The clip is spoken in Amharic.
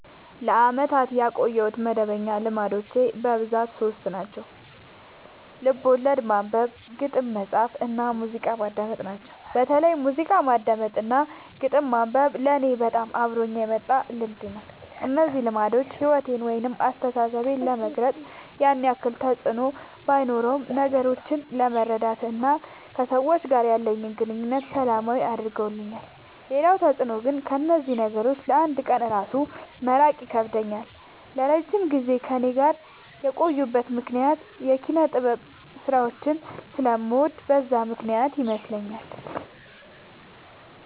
ለአመታት ያቆየሁት መደበኛ ልማዶች በብዛት ሶስት ናቸው። ልቦለድ ማንበብ፣ ግጥም መፃፍ እና ሙዚቃ ማዳመጥ ናቸው። በተለይ ሙዚቃ ማዳመጥ እና ግጥም ማንበብ ለኔ በጣም አብሮኝ የመጣ ልምድ ነው። እነዚህ ልማዶች ሕይወቴን ወይም አስተሳሰቤን ለመቅረጽ ያን ያክል ተፅዕኖ ባኖረውም ነገሮችን ለመረዳት እና ከሰዎች ጋር ያለኝን ግንኙነት ሰላማዊ አድርገውልኛል ሌላው ተፅዕኖ ግን ከእነዚህ ነገሮች ለ አንድ ቀን እራሱ መራቅ ይከብደኛል። ለረጅም ጊዜ ከእኔ ጋር የቆዩበት ምክንያት የኪነጥበብ ስራዎችን ስለምወድ በዛ ምክንያት ይመስለኛል።